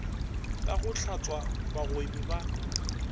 ka go hlatswa bagwebi ba